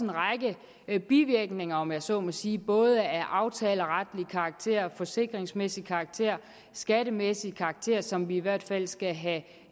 række bivirkninger om jeg så må sige både af aftaleretlig karakter forsikringsmæssig karakter og skattemæssig karakter som vi i hvert fald skal have